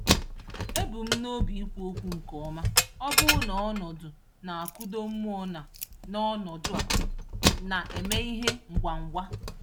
Ebu m n'obi ikwu okwu nke ọma, ọbụna n'ọnọdụ na-akụda mmụọ na n'ọnọdụ a na-eme ihe ngwa ngwa.